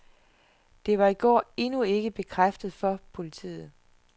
Det var i går endnu ikke bekræftet for politiet.